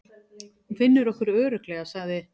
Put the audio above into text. Hún finnur okkur örugglega, sagði